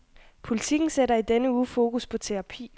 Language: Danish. Politiken sætter i denne uge fokus på terapi.